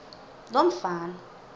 lomfana